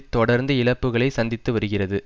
தொடர்ந்து இழப்புக்களை சந்தித்து வருகிறது